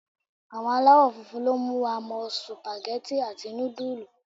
Àwọn alawofunfun ló mú wa mọ supageti àti nudulu.